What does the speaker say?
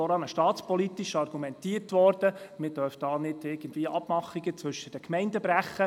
Vorhin wurde staatspolitisch argumentiert, man dürfe Abmachungen mit den Gemeinden nicht brechen.